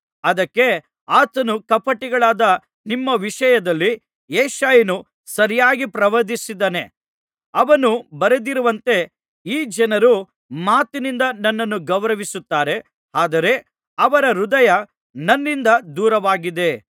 ಅದಕ್ಕೆ ಆತನು ಕಪಟಿಗಳಾದ ನಿಮ್ಮ ವಿಷಯದಲ್ಲಿ ಯೆಶಾಯನು ಸರಿಯಾಗಿ ಪ್ರವಾದಿಸಿದ್ದಾನೆ ಅವನು ಬರೆದಿರುವಂತೆ ಈ ಜನರು ಮಾತಿನಿಂದ ನನ್ನನ್ನು ಗೌರವಿಸುತ್ತಾರೆ ಆದರೆ ಅವರ ಹೃದಯ ನನ್ನಿಂದ ದೂರವಾಗಿದೆ